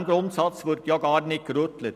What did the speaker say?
An diesem Grundsatz wird gar nicht gerüttelt.